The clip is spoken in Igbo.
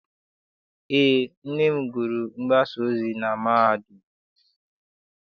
Eé, nne m gụrụ mgbasaozi na mahadum.